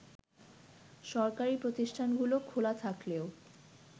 সরকারি প্রতিষ্ঠানগুলো খোলা থাকলেও